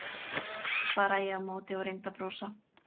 svaraði ég á móti og reyndi að brosa.